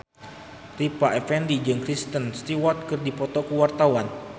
Rita Effendy jeung Kristen Stewart keur dipoto ku wartawan